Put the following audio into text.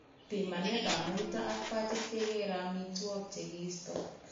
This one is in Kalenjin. Pimanetab muito ak pachit kekere amitwogik che kiisto.